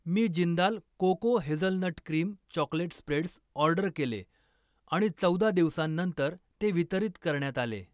मी Jindal cocoa hazelnut cream chocolate spreads order केले आणि चौदा दिवसांनंतर ते वितरित करण्यात आले.